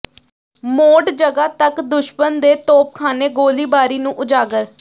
mode ਜਗ੍ਹਾ ਤੱਕ ਦੁਸ਼ਮਣ ਦੇ ਤੋਪਖਾਨੇ ਗੋਲੀਬਾਰੀ ਨੂੰ ਉਜਾਗਰ